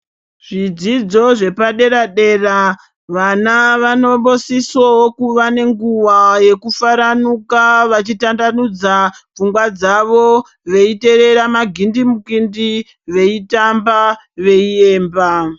Zvidzidzo zvepadera-dera vana vanombosisowo kuva nenguva yekufaranuka vachitandanudza pfungwa dzavo veiterera magindimukindi veitamba veiemba.